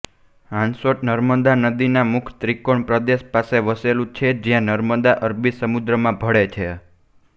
હાંસોટ નર્મદા નદીના મુખ ત્રિકોણ પ્રદેશ પાસે વસેલું છે જ્યાં નર્મદા અરબી સમુદ્રમાં ભળે છે